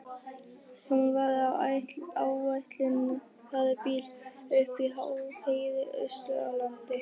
Hún var í áætlunarbíl uppi á háheiði austur á landi.